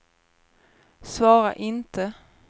svara inte